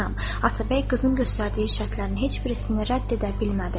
Atabəy qızın göstərdiyi şərtlərin heç birisini rədd edə bilmədi.